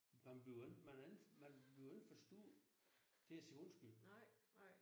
Man bliver ikke man men bliver ikke for stor til at sige undskyld